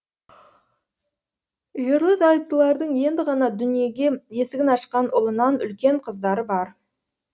ерлі зайыптылардың енді ғана дүниеге есігін ашқан ұлынан үлкен қыздары бар